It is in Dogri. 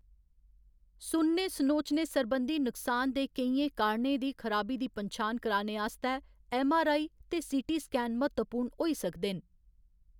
सुनने सनोचने सरबंधी नुकसान दे केइयें कारणें दी खराबी दी पन्छान करने आस्तै ऐम्म.आर.आई. ते सी.टी. स्कैन म्हत्तवपूर्ण होई सकदे न।